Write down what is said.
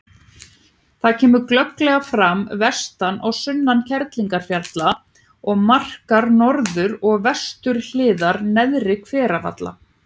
Það kemur glögglega fram vestan og sunnan Kerlingarfjalla og markar norður- og vesturhliðar Neðri-Hveradala.